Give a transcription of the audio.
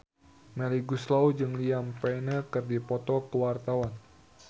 Melly Goeslaw jeung Liam Payne keur dipoto ku wartawan